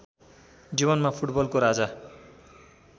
जीवनमा फुटबलको राजा